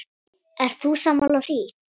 Ert þú sammála því?